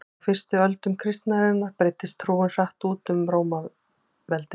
á fyrstu öldum kristninnar breiddist trúin hratt út um rómaveldi